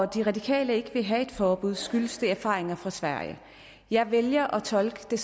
de radikale ikke ville have et forbud skyldtes det erfaringer fra sverige jeg vælger at tolke det